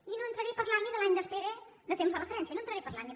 i no entraré a parlar ni de l’any d’espera de temps de referència no entraré a parlar ne